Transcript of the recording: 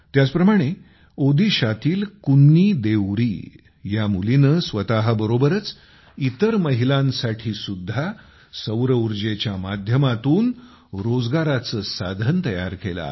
त्याचप्रमाणे ओदीशातीलकुन्नी देउरी या मुलीने स्वतबरोबरच इतर महिलांसाठी सुद्धा सौरउर्जेच्या माध्यमातून रोजगाराचे साधन प्राप्त केले आहे